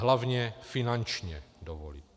Hlavně finančně dovolit.